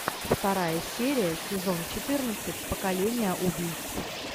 вторая серия сезон четырнадцать поколение убийц